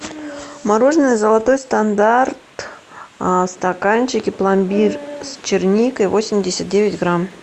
мороженое золотой стандарт в стаканчике пломбир с черникой восемьдесят девять грамм